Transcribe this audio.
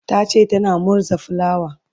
tace tana murza fulawa